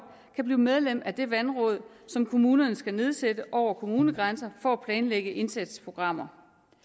kan blive medlemmer af de vandråd som kommunerne skal nedsætte hen over kommunegrænserne for at planlægge indsatsprogrammer